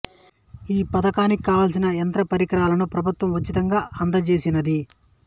ఈ పథకానికి కావలసిన యంత్ర పరికరాలను ప్రభుత్వం ఉచితంగా అందజేసినది